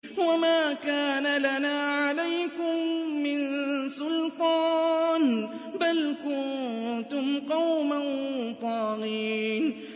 وَمَا كَانَ لَنَا عَلَيْكُم مِّن سُلْطَانٍ ۖ بَلْ كُنتُمْ قَوْمًا طَاغِينَ